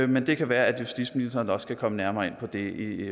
men det kan være at justitsministeren også kan komme nærmere ind på det